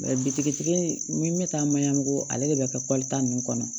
bitigi n bɛ taa maɲabugu ale de bɛ kɛ kɔli ta ninnu kɔnɔ